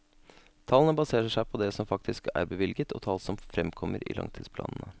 Tallene baserer seg på det som faktisk er bevilget og tall som fremkommer i langtidsplanene.